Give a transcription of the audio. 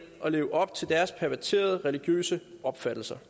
at leve op til deres perverterede religiøse opfattelser